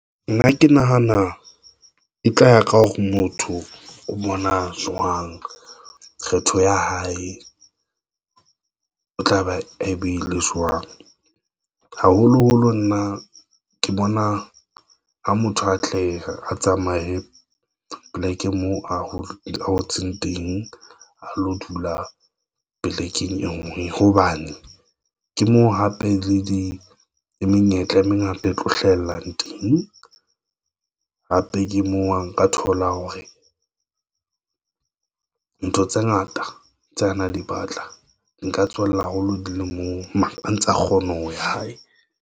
Nna ke nahana e tla ya ka hore motho o bona jwang. Kgetho ya hae o tla ba ebile jwang haholoholo nna ke bona ho motho a tle a tsamaye. Poleke moo ho ngotsweng teng a lo dula polekeng e ngwe hobane ke moo hape le di menyetla e mengata e tlo hlahellang teng. Hape ke moo ha nka thola hore ntho tse ngata tse ana di batla, nka tswella haholo di le moo mono A ntsa kgona ho ya hae.